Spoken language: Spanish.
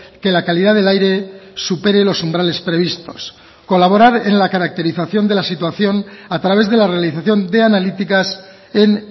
que la calidad del aire supere los umbrales previstos colaborar en la caracterización de la situación a través de la realización de analíticas en